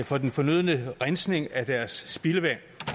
for den fornødne rensning af deres spildevand